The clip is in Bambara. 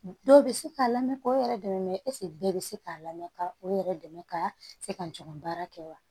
Dɔw bɛ se k'a lamɛn k'o yɛrɛ dɛmɛ mɛsi bɛɛ bɛ se k'a lamɛn ka o yɛrɛ dɛmɛ ka se ka n juguman kɛ wa